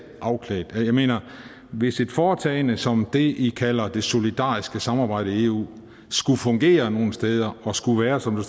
afklædt jeg mener at hvis et foretagende som det i kalder det solidariske samarbejde i eu skulle fungere nogen steder og skulle være som der